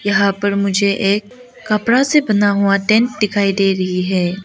यहां पर मुझे एक कपड़ा से बना हुआ टेंट दिखाई दे रही है।